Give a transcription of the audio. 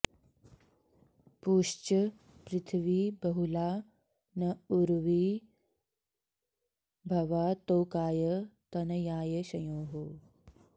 पूश्च॑ पृ॒थ्वी ब॑हु॒ला न॑ उ॒र्वी भवा॑ तो॒काय॒ तन॑याय॒ शंयोः